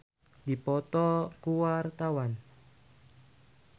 Iwa K jeung Neymar keur dipoto ku wartawan